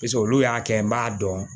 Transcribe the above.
Piseke olu y'a kɛ n b'a dɔn